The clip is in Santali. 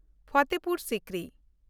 ᱯᱷᱟᱛᱷᱮᱯᱩᱨ ᱥᱤᱠᱨᱤ